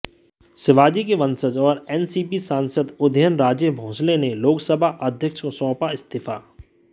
शिवाजी के वंशज और एनसीपी सांसद उदयन राजे भोंसले ने लोकसभा अध्यक्ष को सौंपा इस्तीफा